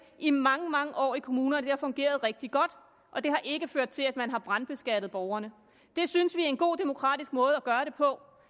i mange mange år i kommunerne det har fungeret rigtig godt og det har ikke ført til at man har brandskattet borgerne det synes vi er en god demokratisk måde at gøre det på